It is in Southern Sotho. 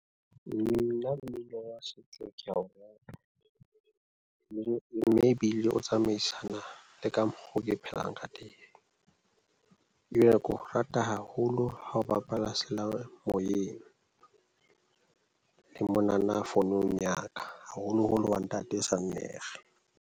Nna mmino wa setso ke a o le mme ebile o tsamaisana le ka mokgo ke phelang ka teng, ebile ke o rata haholo ha o bapala seyalemoyeng le mona na founong ya ka, haholoholo wa ntate Sannere.